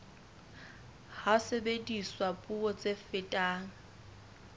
ha sebediswa puo tse fetang